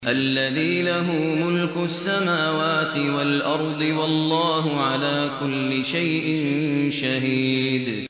الَّذِي لَهُ مُلْكُ السَّمَاوَاتِ وَالْأَرْضِ ۚ وَاللَّهُ عَلَىٰ كُلِّ شَيْءٍ شَهِيدٌ